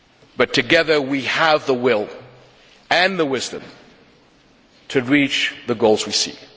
But together we have the will and the wisdom to reach the goals we seek.